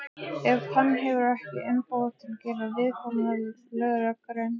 ef hann hefur ekki umboð til að gera viðkomandi löggerning.